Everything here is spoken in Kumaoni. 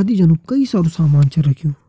आदि जनु कई सारू सामान छै रखयूं।